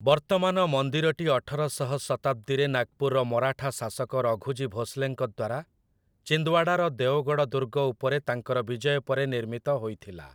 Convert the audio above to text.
ବର୍ତ୍ତମାନ ମନ୍ଦିରଟି ଅଠର ଶହ ଶତାବ୍ଦୀରେ ନାଗପୁରର ମରାଠା ଶାସକ ରଘୁଜୀ ଭୋଂସଲେଙ୍କ ଦ୍ୱାରା ଚିନ୍ଦୱାଡ଼ାର ଦେଓଗଡ଼୍ ଦୁର୍ଗ ଉପରେ ତାଙ୍କର ବିଜୟ ପରେ ନିର୍ମିତ ହୋଇଥିଲା ।